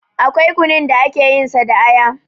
Akwai kunun da ake yin sa da aya